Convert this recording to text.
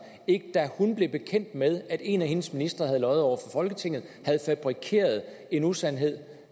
ikke da hun blev bekendt med at en af hendes ministre havde løjet over for folketinget havde fabrikeret en usandhed